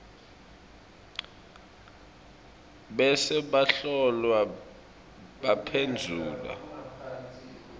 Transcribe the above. bese bahlolwa baphendvula